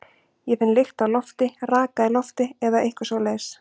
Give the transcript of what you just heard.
Ég finn lykt af lofti, raka í lofti eða eitthvað svoleiðis.